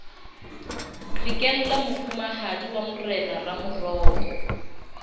qhekella mofumahadi wa morena ramoroko